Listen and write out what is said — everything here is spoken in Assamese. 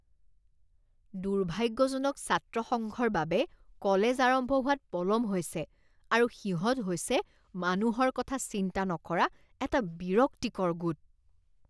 দুৰ্ভাগ্যজনক ছাত্ৰ সংঘৰ বাবে কলেজ আৰম্ভ হোৱাত পলম হৈছে আৰু সিহঁত হৈছে মানুহৰ কথা চিন্তা নকৰা এক বিৰক্তিকৰ গোট।